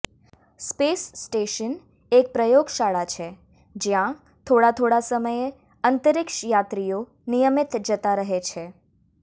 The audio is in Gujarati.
સ્પેસ સ્ટેશન એક પ્રયોગશાળા છે જ્યાં થોડા થોડા સમયે અંતરિક્ષ યાત્રીઓ નિયમિત જતા રહે છે